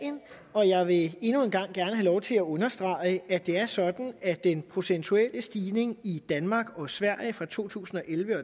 og jeg vil endnu en gang gerne have lov til at understrege at det er sådan at den procentuelle stigning i danmark og sverige fra to tusind og elleve